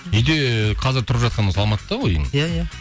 үйде қазір тұрып жатқан осы алматыда ғой үйің иә иә